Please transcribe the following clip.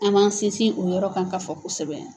An m'an sinsin o yɔrɔ kan k'a fɔ kosɛbɛ.